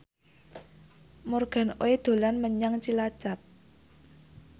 Morgan Oey dolan menyang Cilacap